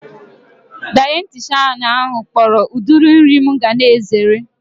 Dayetishanụ ahu kpọrọ udiri nri mụ ga na-ezere